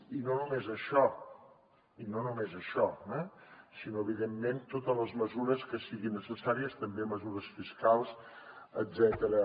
i no només això sinó evidentment totes les mesures que siguin necessàries també mesures fiscals etcètera